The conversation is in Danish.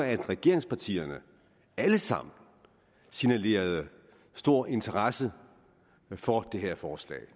at regeringspartierne alle sammen signalerede stor interesse for det her forslag